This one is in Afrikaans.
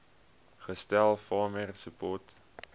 gestel farmer support